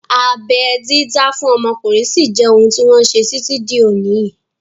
Abẹ́ dídá fún ọmọkùnrin sí jẹ́ ohun tí wọ́n ṣe títí di òní yìí